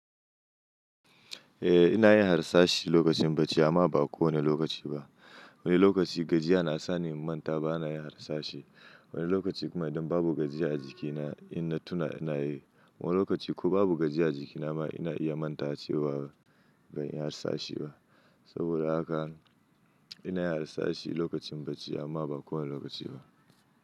Eh ina yin harsashi lokacin bacci amma ba kowane lokaci ba. Wani lokaci gajiya na sa ni in manta ba na yin harsashi. Wani lokaci kuma idan babu gajiya a jikina in na tuna ina yi. Wani lokaci ko babu gajiya a jikinama ina iya manta cewa ban yi harsashi ba. Saboda haka ina harsashi lokacin bacci amma ba kowane lokaci ba.